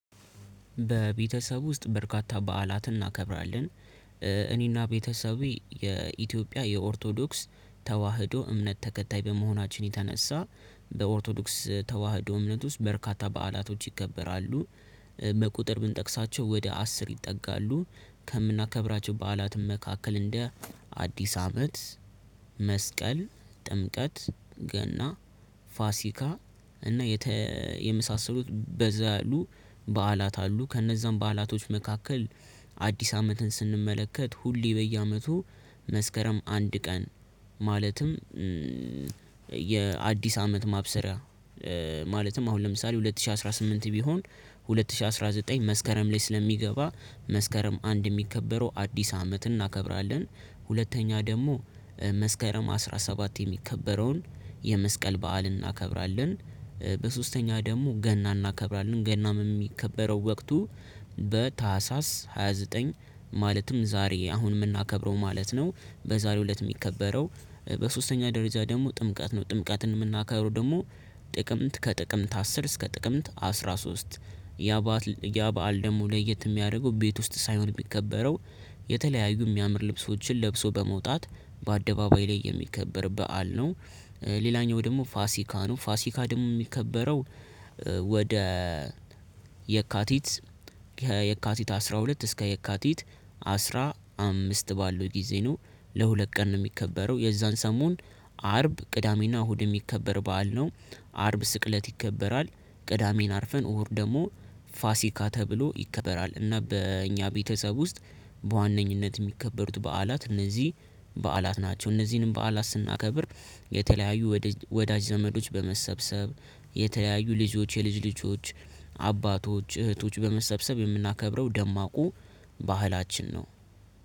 በቤተሰብ ውስጥ በርካታ በዓላትን እናከብራለን። እኔና ቤተሰቤ የኢትዮጵያ የኦርቶዶክስ ተዋህዶ እምነት ተከታይ በመሆናችን የተነሳ በኦርቶዶክስ ተዋህዶ እምነት ውስጥ በርካታ በዓላቶች ይከበራሉ። በቁጥር ብንጠቅሳቸው ወደ አስር ይጠጋሉ ከምናከብራቸው በዓላትም መካከል እንደ አዲስ አመት መስቀል ጥምቀት ገና ፋሲካ እና የመሳሰሉት በዛ ያሉ በዓላት አሉ። ከነዛም በዓላቶች መካከል አዲስ አመትን ስንመለከት ሁሌ በየአመቱ መስከረም አንድ ቀን ማለትም የአዲስ አመት ማብሰሪያ ማለትም አሁን ለምሳሌ ሁለት ሺህ አስራ ስምንት ቢሆን ሁለት ሺህ አስራ ዘጠኝ መስከረም ላይ ስለሚገባ መስከረም አንድ የሚከበረው አዲስ አመት እናከብራለን። ሁለተኛ ደግሞ መስከረም አስራ ሰባት የሚከበረውን የመስቀል በዓልን እናከብራለን። በሶስተኛ ደግሞ ገና እናከብራለን ገናም የሚከበረው ወቅቱ በታህሳስ ሃያ ዘጠኝ ማለትም ዛሬ አሁንም የምናከብረው ማለት ነው። በዛሬው እለት የሚከበረው በሶስተኛ ደረጃ ደግሞ ጥምቀት ነው። ጥምቀትን የምናከብረው ደግሞ ጥቅምት ከጥቅምት አስር እስከ ጥቅምት አስራ ሶስት ያባአል ያባአል ደግሞ ለየት የሚያደርገው ቤት ውስጥ ሳይሆን የሚከበረው የተለያዩ የሚያምር ልብሶችን ለብሶ በመውጣት በአደባባይ ላይ የሚከበር በዓል ነው። ሌላኛው ደግሞ ፋሲካ ነው። ፋሲካ ደግሞ የሚከበረው ወደ የካቲት የካቲት አስራ ሁለት እስከ የካቲት አስራ አምስት ባለው ጊዜ ነው። ለሁለት ቀን ነው የሚከበረው የዛን ሰሞን አርብ ቅዳሜና እሁድ የሚከበር በዓል ነው። አርብ ስቅለት ይከበራል። ቅዳሜን አርፈን እሁድ ደግሞ ፋሲካ ተብሎ ይከበራል። እና በእኛ ቤተሰብ ውስጥ በዋነኝነት የሚከበሩት በዓላት እነዚህ በዓላት ናቸው። እነዚህንም በዓላት ስናከብር የተለያዩ ወዳጅ ዘመዶች በመሰብሰብ የተለያዩ ልጆች የልጅ ልጆች አባቶች እህቶች በመሰብሰብ የምናከብረው ደማቁ ባህላችን ነው።